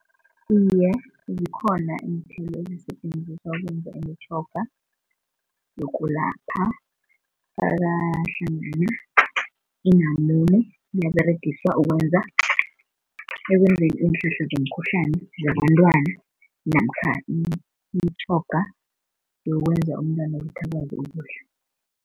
Iye zikhona iinthelo ezisetjenziswa ukwenza imitjhoga nokulapha faka hlangana inamune liyaberegiswa ukwenza ekwenzeni iinhlahla zomkhuhlani zabentwana namkha imitjhoga yokwenza umntwana ukuthi akwazi ukudla.